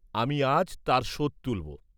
আমি আজ তার শোধ তুলব?